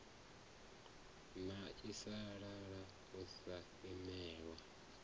na sialala u sa imelwa